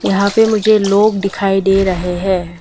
यहां पे मुझे लोग दिखाई दे रहे हैं।